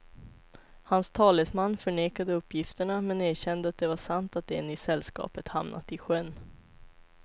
Hans talesman förnekade uppgifterna men erkände att det var sant att en i sällskapet hamnat i sjön.